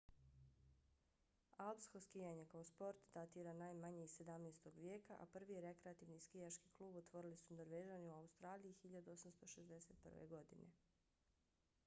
alpsko skijanje kao sport datira najmanje iz 17. vijeka a prvi rekreativni skijaški klub otvorili su norvežani u australiji 1861. godine